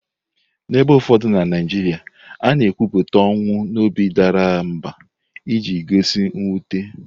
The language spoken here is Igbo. N'ebe ụfọdụ na Naijiria, a na-ekwupụta ọnwụ n'obi dara mbà iji gosi mwute.